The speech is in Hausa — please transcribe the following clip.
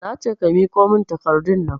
Nace ka miƙo min takardunnan